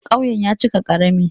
Ƙauyen ya cika ƙarami.